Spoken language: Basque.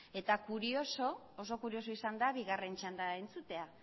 eta oso kurioso izan da bigarren txanda entzutea